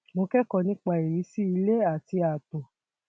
mo kẹkọọ nípa ìrísí ilé àti ààtò